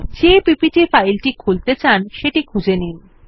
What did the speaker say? যে PPT file টি খুলতে চান সেটি খুঁজে নিন